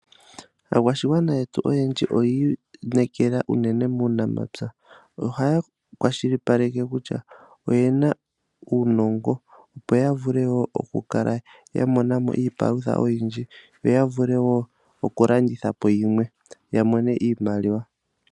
Aakwashigwana yetu oyendji oyiinekela unene muunamapya. Ohaya kwashilipaleke kutya oye na uunongo opo ya vule wo okukala ya mona mo iipalutha oyindji yo yavule wo okulanditha po yimwe ya mone iimaliwa.